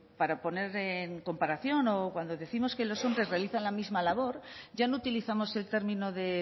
para poner en comparación o cuando décimos que los hombres realizan la misma labor ya no utilizamos el término de